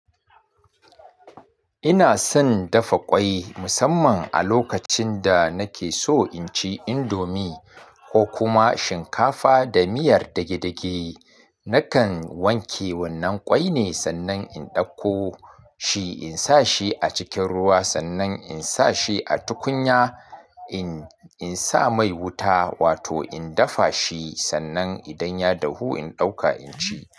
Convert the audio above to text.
Ina son dafa kwai musamman a lokacin da nake so inci indomie ko kuma shinkafa da miyar dage-dage. Nakan wanke wannan kwai ne, sannan in dauko shi in sa shi a cikin ruwa, sannan in sa shi a tukunya in sa mai wuta wato in dafa shi, sannan idan ya dahu in ɗauka inci.